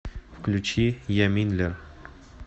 включи яминлер